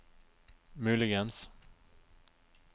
muligens